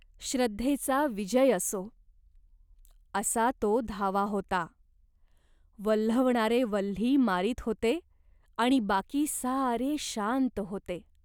श्रद्धेचा विजय असो." असा तो धावा होता. वल्हवणारे वल्ही मारीत होते, आणि बाकी सारे शांत होते.